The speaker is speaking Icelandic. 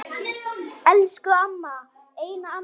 Elsku amma, eina amma mín.